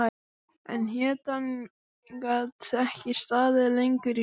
En hetjan gat ekki staðið lengur í fæturna.